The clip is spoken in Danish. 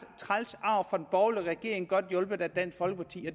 træls arv fra den borgerlige regering godt hjulpet af dansk folkeparti og